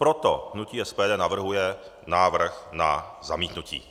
Proto hnutí SPD navrhuje návrh na zamítnutí.